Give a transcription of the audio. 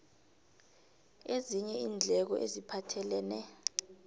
ezinye iindleko eziphathelene